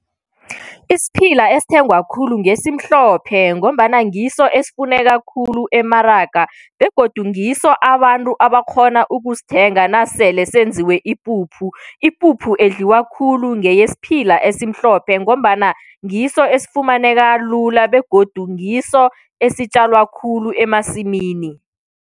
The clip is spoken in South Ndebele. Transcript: Isiphila esithengwa khulu ngesimhlophe, ngombana ngiso esifuneka khulu emaraga begodu ngiso abantu abakghona ukusithenga nasele senziwe ipuphu. Ipuphu edliwa khulu ngeyesiphila esimhlophe, ngombana ngiso esifumaneka lula begodu ngiso esitjalwa khulu emasimini.